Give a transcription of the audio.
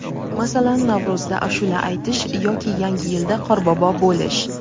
masalan Navro‘zda ashula aytish yoki yangi yilda qorbobo bo‘lish.